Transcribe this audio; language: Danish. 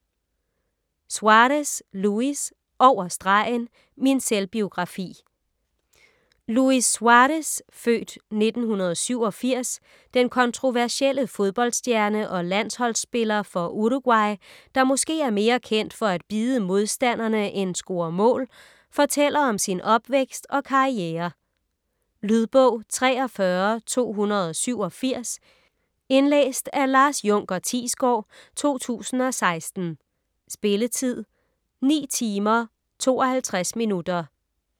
Suárez, Luis: Over stregen: min selvbiografi Luis Suárez (f. 1987), den kontroversielle fodboldstjerne og landsholdsspiller for Uruguay, der måske er mere kendt for at bide monstandere end score mål, fortæller om sin opvækst og karriere. Lydbog 43287 Indlæst af Lars Junker Thiesgaard, 2016. Spilletid: 9 timer, 52 minutter.